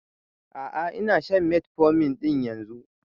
A'a ina shan metformin ɗin yanzun